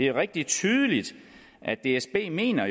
rigtig tydeligt at dsb ikke mener